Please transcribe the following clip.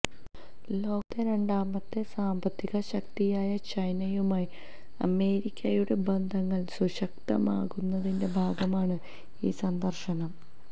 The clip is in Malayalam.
ലോകത്തെ രണ്ടാമത്തെ സാമ്പത്തിക ശക്തിയായ ചൈനയുമായി അമേരിക്കയുടെ ബന്ധങ്ങൾ സുശക്തമാക്കുന്നതിന്റെ ഭാഗമാണ് ഈ സന്ദർശനം